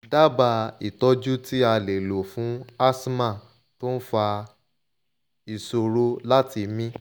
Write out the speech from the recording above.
daba itoju ti ale lo fun asthma to n fa isoro lati mi